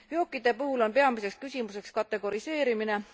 Veokite puhul on peamiseks küsimuseks kategoriseerimine.